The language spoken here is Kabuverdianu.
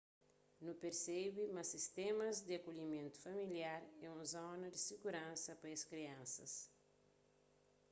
nu persebe ma sistémas di akolhimentu familiar é un zona di siguransa pa es kriansas